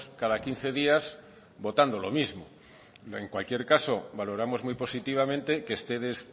cada quince días votando lo mismo en cualquier caso valoramos muy positivamente que ustedes